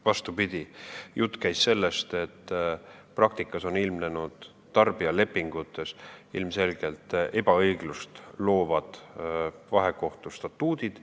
Vastupidi, jutt käib sellest, et praktikas on ilmnenud tarbijalepingute puhul ilmselgelt ebaõiglust loovad vahekohtu statuudid.